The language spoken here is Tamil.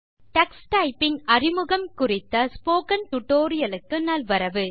இன்ட்ரோடக்ஷன் டோ டக்ஸ் டைப்பிங் குறித்த ஸ்போக்கன் டியூட்டோரியல் க்கு நல்வரவு